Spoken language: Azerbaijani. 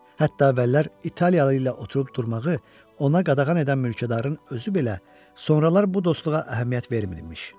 Hətta əvvəllər İtaliyalı ilə oturub durmağı ona qadağan edən mülkədarın özü belə sonralar bu dostluğa əhəmiyyət vermirmiş.